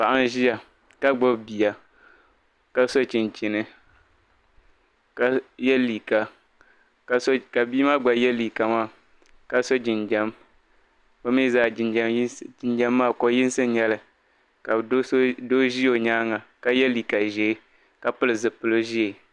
paɣa n-ʒia ka gbubi bia ka so chinchini ka ye liiga ka bia maa gba ye liiga maa ka so jinjɛm bɛ mii zaa jinjɛm maa ko'yinsi n-nyɛ li ka doo ʒi o nyaanga ka ye liiga ʒee ka pili zupil'ʒee